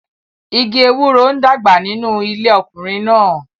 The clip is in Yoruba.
Igi ewuroń dàgbà nínú ilé ọkùnrin náà.